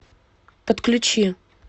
подключи